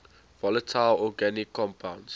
volatile organic compounds